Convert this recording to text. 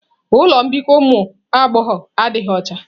Ụlọ mbikọ ụmụ agbọghọ adịghị ọcha.